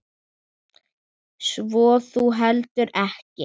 Svo þú heldur ekki?